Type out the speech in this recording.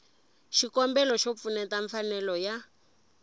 xikombelo xo pfuxeta mfanelo ya